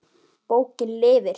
Bókin lifir.